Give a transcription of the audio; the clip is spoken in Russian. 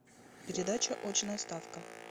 передача очная ставка